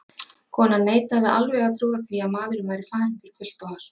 Konan neitaði alveg að trúa því að maðurinn væri farinn fyrir fullt og allt.